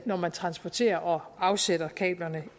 når man transporterer og afsætter kablerne